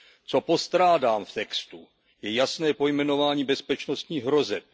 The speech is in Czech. Co postrádám v textu, je jasné pojmenování bezpečnostních hrozeb.